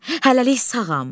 Hələlik sağam.